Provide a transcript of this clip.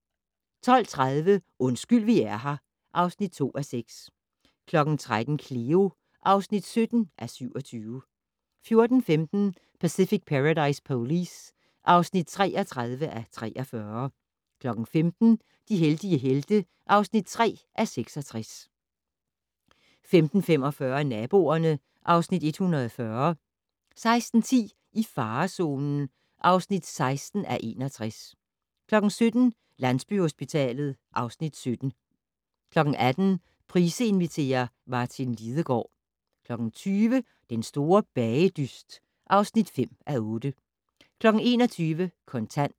12:30: Undskyld vi er her (2:6) 13:00: Cleo (17:27) 14:15: Pacific Paradise Police (33:43) 15:00: De heldige helte (3:66) 15:45: Naboerne (Afs. 140) 16:10: I farezonen (16:61) 17:00: Landsbyhospitalet (Afs. 17) 18:00: Price inviterer - Martin Lidegaard 20:00: Den store bagedyst (5:8) 21:00: Kontant